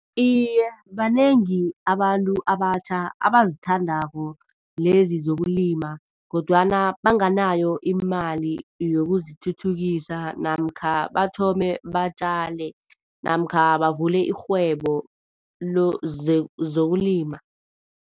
Iye, banengi abantu abatjha abazithandako lezi zokulima kodwana banganayo imali yokuzithuthukisa namkha bathome batjale, namkha bavule irhwebo zokulima.